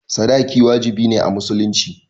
sadaki wajibi ne a musulunci